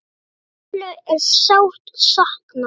Erlu er sárt saknað.